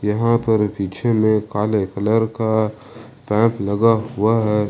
यहां पर पीछे में काले कलर का टैप लगा हुआ है।